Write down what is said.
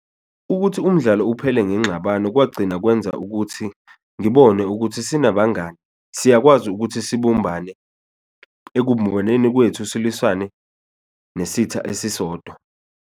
Ukuthi umdlalo uphele ngenxabano kwagcina kwenza ukuthi ngibone ukuthi sinabangani siyakwazi ukuthi sibumbane, kwethu silwisane nesitha esisodwa.